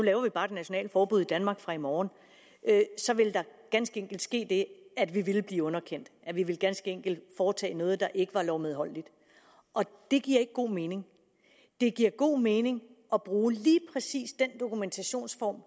laver vi bare et nationalt forbud i danmark fra i morgen så ville der ganske enkelt ske det at vi ville blive underkendt vi ville ganske enkelt foretage os noget der ikke er lovmedholdeligt og det giver ikke god mening det giver god mening at bruge lige præcis den dokumentationsform